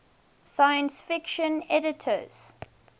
science fiction editors